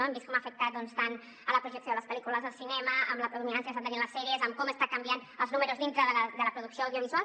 hem vist com ha afectat doncs tant a la projecció de les pel·lícules al cinema amb la predominança que estan tenint les sèries amb com estan canviant els números dintre de la producció audiovisual